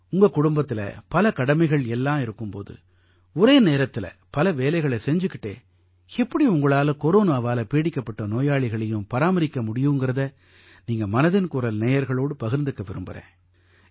உங்க குடும்பத்தில பல கடமைகள் எல்லாம் இருக்கும் போது ஒரே நேரத்தில பல வேலைகளை செஞ்சுக்கிட்டே எப்படி உங்களால கொரோனாவால பீடிக்கப்பட்ட நோயாளிகளையும் பராமரிக்க முடியுதுங்கறதை நீங்க மனதின் குரல் நேயர்களோடு பகிர்ந்து கொள்ள வேண்டிக்கறேன்